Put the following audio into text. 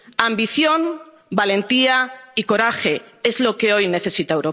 discursos nacionales. Ambición, valentía y coraje